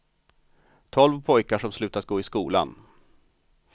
Tolv pojkar som slutat gå i skolan.